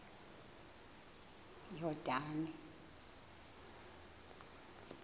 yordane